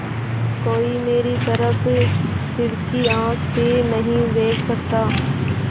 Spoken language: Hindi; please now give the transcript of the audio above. कोई मेरी तरफ तिरछी आँख से नहीं देख सकता